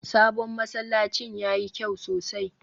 sabon masallacin yayi kyau sosai